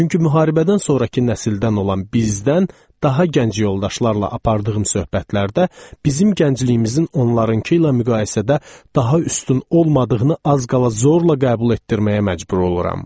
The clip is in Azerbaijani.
Çünki müharibədən sonrakı nəsildən olan bizdən daha gənc yoldaşlarla apardığım söhbətlərdə bizim gəncliyimizin onlarınkı ilə müqayisədə daha üstün olmadığını az qala zorla qəbul etdirməyə məcbur oluram.